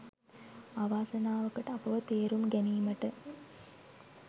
අවාසනාවකට අපව තේරුම් ගැනීමට